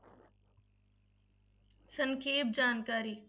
ਸੰਖੇਪ ਜਾਣਕਾਰੀ